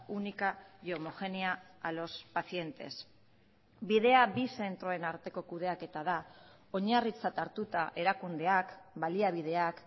única y homogénea a los pacientes bidea bi zentroen arteko kudeaketa da oinarritzat hartuta erakundeak baliabideak